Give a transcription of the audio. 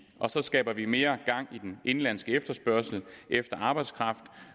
og så skaber vi mere gang i den indenlandske efterspørgsel efter arbejdskraft